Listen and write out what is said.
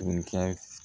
Tun ka